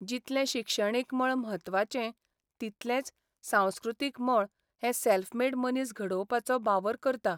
जितलें शिक्षणीक मळ म्हत्वाचें तितलेंच सांस्कृतीक मळ हे सॅल्फ मेड मनीस घडोवपाचो बावर करता.